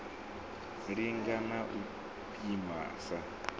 linga na u pima sa